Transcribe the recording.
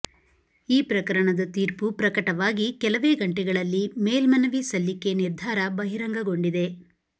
ಈ ಪ್ರಕರಣದ ತೀರ್ಪು ಪ್ರಕಟವಾಗಿ ಕೆಲವೇ ಗಂಟೆಗಳಲ್ಲಿ ಮೇಲ್ಮನವಿ ಸಲ್ಲಿಕೆ ನಿರ್ಧಾರ ಬಹಿರಂಗಗೊಂಡಿದೆ